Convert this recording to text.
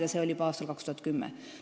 Ja see oli juba aastal 2010.